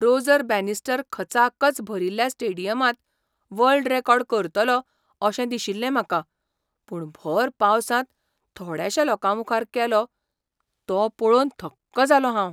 Roger Bannister खचाखच भरिल्ल्या स्टेडियमांत वर्ल्ड रॅकॉर्ड करतलो अशें दिशिल्लें म्हाका, पूण भर पावसांत थोड्याशा लोकांमुखार केलो तो पळोवन थक्क जालों हांव.